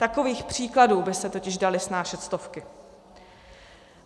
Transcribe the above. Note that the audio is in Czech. Takových příkladů by se totiž daly snášet stovky.